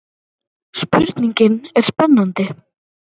Spurningin er spennandi.